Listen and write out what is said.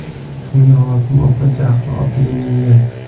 Shunga hokim opa jahl otiga mingan.